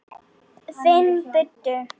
Finn buddu.